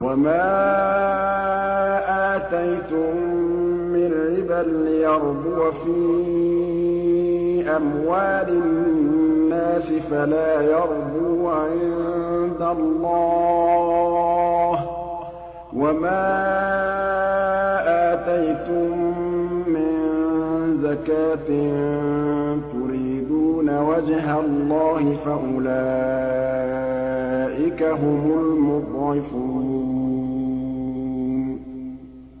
وَمَا آتَيْتُم مِّن رِّبًا لِّيَرْبُوَ فِي أَمْوَالِ النَّاسِ فَلَا يَرْبُو عِندَ اللَّهِ ۖ وَمَا آتَيْتُم مِّن زَكَاةٍ تُرِيدُونَ وَجْهَ اللَّهِ فَأُولَٰئِكَ هُمُ الْمُضْعِفُونَ